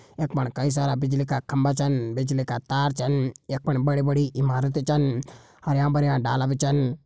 यफण कई सारा बिजली का खम्बा छन बिजली का तार छन यख फण बड़ी बड़ी इमारत छन हरयां भरयां डाला भी छन।